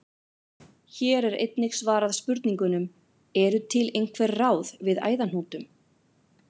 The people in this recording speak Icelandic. Hér er einnig svarað spurningunum: Eru til einhver ráð við æðahnútum?